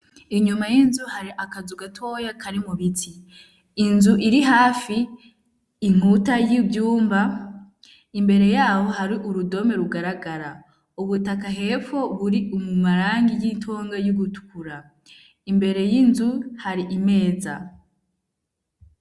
Inyuma y'inzu hari akazugatoya kari mubiti inzu iri hafi inkuta y'ivyumba imbere yabo hari urudome rugaragara ubutaka hepo buri umumarangi y'itonge y'ugutkura imbere y'inzu hari imeza.